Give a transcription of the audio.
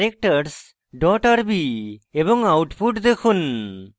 এবং output দেখুন